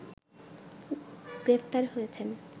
গ্রেপ্তার হয়েছেন